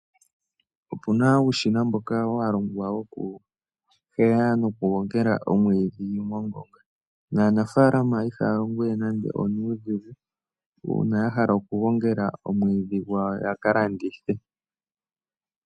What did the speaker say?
Opuna uushina mboka walongwa wokuhweya nokugongela omwiidhi mongonga, naanafaalama ihaya longo we nande onuudhigu uuna yahala okugongela omwiidhi gwawo yakalandithe.